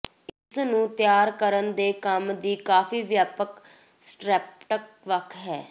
ਇਸ ਨੂੰ ਤਿਆਰ ਕਰਨ ਦੇ ਕੰਮ ਦੀ ਕਾਫੀ ਵਿਆਪਕ ਸਪੈਕਟ੍ਰਮ ਵੱਖ ਹੈ